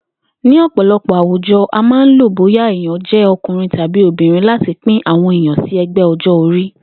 Ní ò̩pò̩lo̩pò̩ àwùjo̩, a máa ń lo bóyà èèyàn jé̩ o̩kùnrin tàbí obìnrin láti pín àwo̩n èèyàn sí e̩gbé̩ o̩jó̩-orí